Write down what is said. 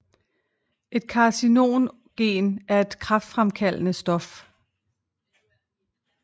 Et carcinogen er et kræftfremkaldende stof